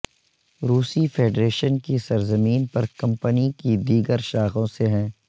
روسی فیڈریشن کی سرزمین پر کمپنی کی دیگر شاخوں سے ہیں